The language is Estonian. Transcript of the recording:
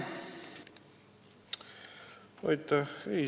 Aitäh!